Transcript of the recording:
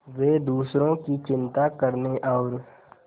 वे दूसरों की चिंता करने और